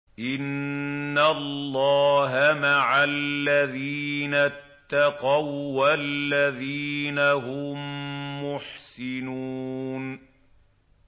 إِنَّ اللَّهَ مَعَ الَّذِينَ اتَّقَوا وَّالَّذِينَ هُم مُّحْسِنُونَ